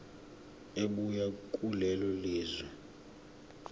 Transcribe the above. ebuya kulelo lizwe